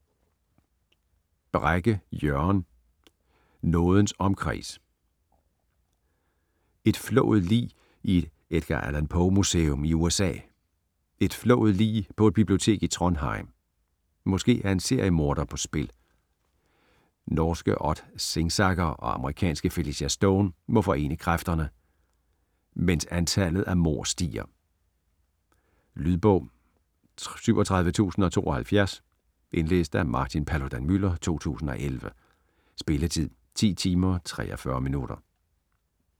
Brekke, Jørgen: Nådens omkreds Et flået lig i et Edgar Allan Poe-museum i USA. Et flået lig på et bibliotek i Trondheim. Måske er en seriemorder på spil? Norske Odd Singsaker og amerikanske Felicia Stone må forene kræfterne, mens antallet af mord stiger. Lydbog 37072 Indlæst af Martin Paludan-Müller, 2011. Spilletid: 10 timer, 43 minutter.